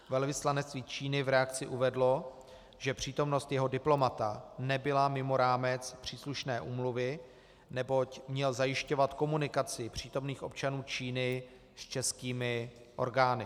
Velvyslanectví Číny v reakci uvedlo, že přítomnost jeho diplomata nebyla mimo rámec příslušné úmluvy, neboť měl zajišťovat komunikaci příslušných občanů Číny s českými orgány.